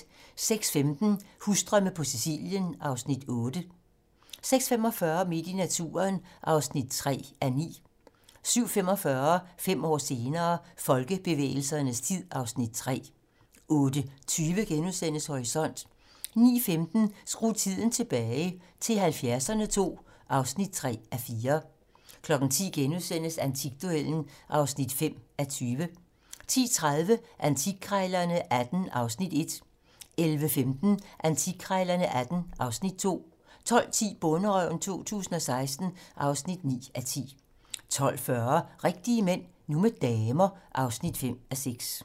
06:15: Husdrømme på Sicilien (Afs. 8) 06:45: Midt i naturen (3:9) 07:45: Fem år senere - Folkebevægelsernes tid (Afs. 3) 08:20: Horisont * 09:15: Skru tiden tilbage - til 70'erne II (3:4) 10:00: Antikduellen (5:20)* 10:30: Antikkrejlerne XVIII (Afs. 1) 11:15: Antikkrejlerne XVIII (Afs. 2) 12:10: Bonderøven 2016 (9:10) 12:40: Rigtige mænd - nu med damer (5:6)